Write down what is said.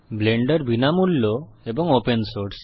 Blender বিনামূল্য এবং open source